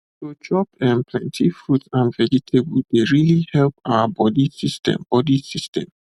to chop um plenty fruit and vegetable dey really help our body system body system